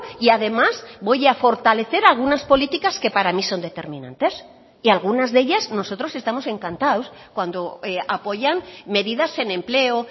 y además voy a fortalecer algunas políticas que para mí son determinantes y algunas de ellas nosotros estamos encantados cuando apoyan medidas en empleo